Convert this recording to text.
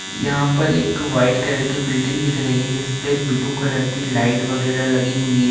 यहाँ पर एक वाइट कलर की बिल्डिंग दिख रही है जिसपे ब्लू कलर की लाइट वगैरा लगी हुई है।